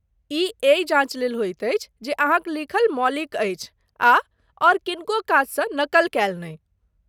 ई एहि जाँच लेल होइत अछि जे अहाँक लिखल मौलिक अछि आ आओर किनको काजसँ नकल कयल नहि।